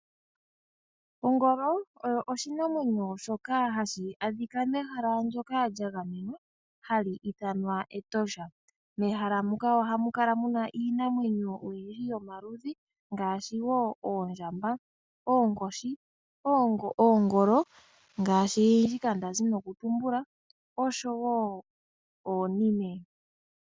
Ongolo oyo oshinamwenyo shoka hashi adhika mehala ndoka lya gamenwa hali ithanwa Etosha. Mehala muka ihamu kala oyindji yomaludhi ngaashi oondjamba, oonkoshi, oongolo oshowo oonime.